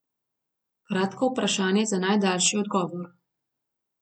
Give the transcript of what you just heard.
Kratko vprašanje za najdaljši odgovor.